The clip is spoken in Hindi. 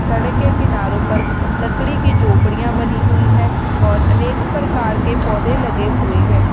सड़क के किनारो पर लकड़ी की झोपड़ियां बनी हुई है और अनेक प्रकार के पौधे लगे हुए हैं।